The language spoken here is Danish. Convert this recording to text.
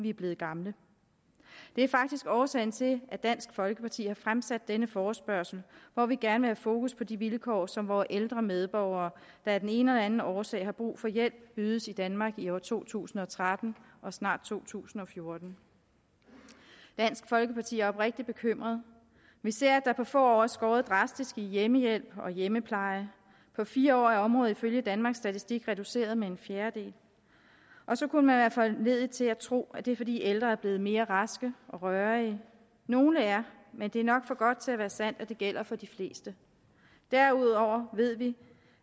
vi er blevet gamle det er faktisk årsagen til at dansk folkeparti har fremsat denne forespørgsel hvor vi gerne fokus på de vilkår som vore ældre medborgere der af den ene eller den anden årsag har brug for hjælp ydes i danmark i år to tusind og tretten og snart to tusind og fjorten dansk folkeparti er oprigtig bekymret vi ser at der på få år er skåret drastisk i hjemmehjælp og hjemmepleje på fire år er området ifølge danmarks statistik reduceret med en fjerdedel og så kunne man være foranlediget til at tro at det er fordi ældre er blevet mere raske og rørige nogle er men det er nok for godt til at være sandt at det gælder for de fleste derudover ved vi